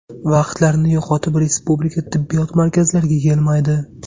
Vaqtlarini yo‘qotib respublika tibbiyot markazlariga kelmaydi.